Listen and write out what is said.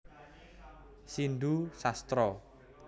Sindu Sastra